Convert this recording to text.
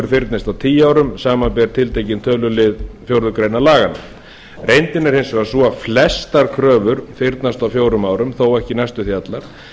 fyrnist á tíu árum samanber tiltekinn tölulið fjórðu grein laganna reyndin er hins vegar sú að flestar kröfur fyrnast á fjórum árum þó ekki næstum því allar